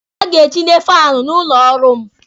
Ha ga-etinye faanụ n'ụlọ ọrụ m.